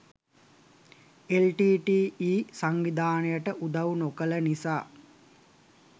LTTE. සංවිධානයට උදව් නොකළ නිසා